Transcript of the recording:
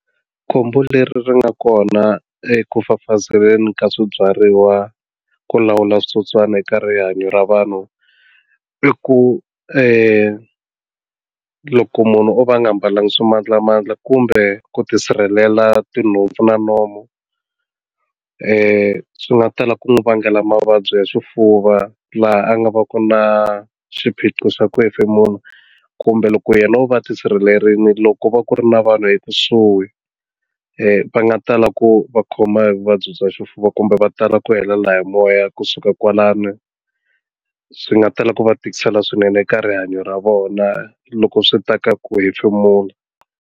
Khombo leri nga kona eku fafazeleni ka swibyariwa ku lawula switsotswana eka rihanyo ra vanhu i ku loko munhu o va nga mbalanga swimandlamandla kumbe ku ti sirhelela tinhompfu na nomu ku nga tala ku n'wi vangela mavabyi ya swifuva laha a nga va ku na swiphiqo swa Ku hefemula kumbe loko yena u va tisirhelelile loko va ku ri na vanhu ekusuhi va nga tala ku va khoma hi vuvabyi bya xifuva kumbe va tala ku helela hi moya kusuka kwalano swi nga tala ku va tikisela swinene eka rihanyo ra vona loko swi ta ka ku hi nchumu kula.